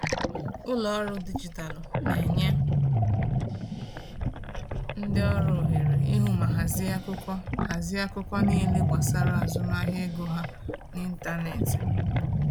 Ụlọ ọrụ dijitalụ na-enye ndị ọrụ ohere ịhụ ma hazie akụkọ hazie akụkọ niile gbasara azụmahịa ego ha n’ịntanetị.